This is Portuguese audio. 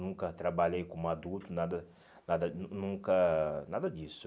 Nunca trabalhei como adulto, nada nada nun nunca nada disso.